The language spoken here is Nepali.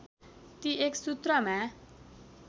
ती एक सूत्रमा